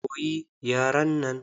Koyi yaren nan!